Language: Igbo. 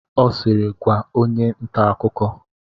Ọ siiri, gwaa! onye nta akụkọ!